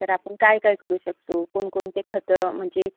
तर आपण काय काय करू शकतो? कोणकोणतं खतं? म्हणजे?